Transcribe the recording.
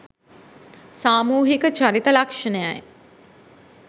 සාමූහික චරිත ලක්ෂණයයි.